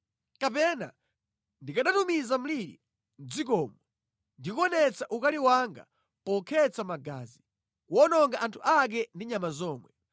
“Kapena ndikanatumiza mliri mʼdzikomo ndi kuonetsa ukali wanga pokhetsa magazi, kuwononga anthu ake ndi nyama zomwe.